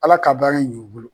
Ala ka baara ɲ'u bolo